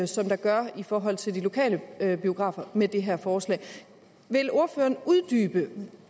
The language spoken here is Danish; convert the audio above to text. som der gør i forhold til de lokale biografer med det her forslag vil ordføreren uddybe